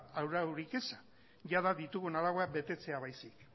araurik ez jada ditugun arauak betetzea baizik